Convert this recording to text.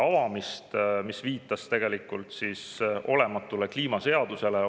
Aga selle seletuskiri viitas tegelikult olematule kliimaseadusele.